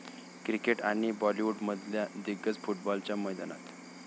cricket आणि बॉलीवुडमधल्या दिग्गज फुटबॉलच्या मैदानात